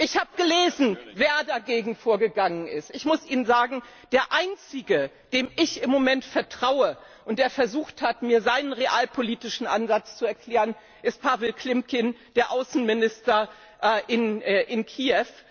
Ich habe gelesen, wer dagegen vorgegangen ist. Ich muss Ihnen sagen Der einzige, dem ich im Moment vertraue und der versucht hat, mir seinen realpolitischen Ansatz zu erklären, ist Pawlo Klimkin, der Außenminister in Kiew.